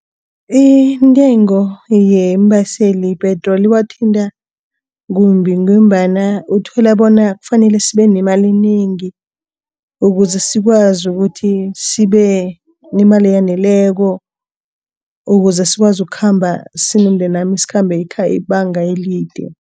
Intengo yeembaseli ipetroli wathinta kumbi ngombana uthola bona kufanele sibe nemali inengi. Ukuze sikwazi ukuthi sibe nemali eyaneleko. Ukuze sikwazi ukukhamba sibe nemali eyaneleko. Ukuze sikwazi ukukhamba ibanga elide.